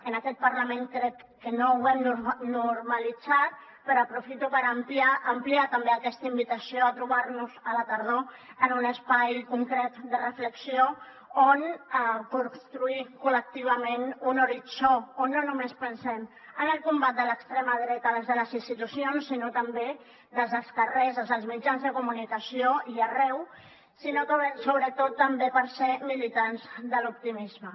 en aquest parlament crec que no ho hem normalitzat però aprofito per ampliar també aquesta invitació a trobar nos a la tardor en un espai concret de reflexió on construir col·lectivament un horitzó on no només pensem en el combat de l’extrema dreta des de les institucions sinó també des dels carrers des dels mitjans de comunicació i arreu sinó sobretot també per ser militants de l’optimisme